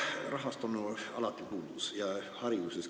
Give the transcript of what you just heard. Rahast on alati puudus, muidugi ka hariduses.